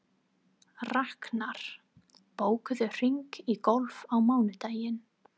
Raknar, bókaðu hring í golf á mánudaginn.